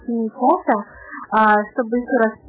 фото